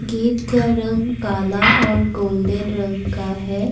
Gate का रंग काला और गोल्डन रंग का है।